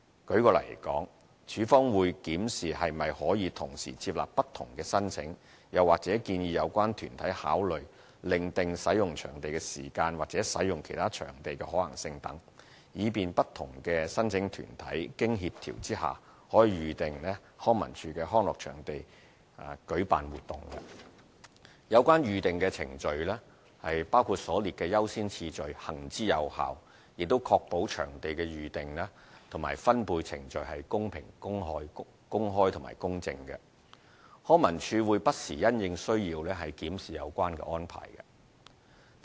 舉例來說，署方會檢視是否可以同時接納不同的申請，又或建議有關團體考慮另訂使用場地時間或使用其他場地的可行性等，以便不同申請團體經協調下可預訂康文署的康樂場地舉辦活動。有關《預訂程序》行之有效，亦確保場地的預訂及分配程序公平、公開及公正。康文署會不時因應需要檢視有關安排。